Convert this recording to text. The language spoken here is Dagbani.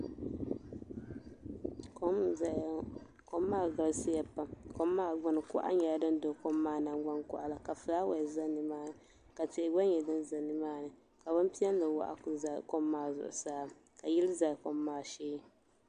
Kom n zaya ŋɔ kom maa galisiya pam kom maa gbini kuɣa nyɛla din do kom maa nangban koɣala ka filaawaasi za nimaani ka tihi gba nyɛ din be nimaani ka bini piɛlli waɣa kuli za kom maa zuɣusaa ka yili za kom maa shee.